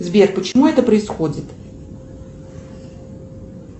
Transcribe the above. сбер почему это происходит